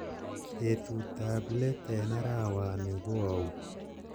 betut ab leet en arawani ko ou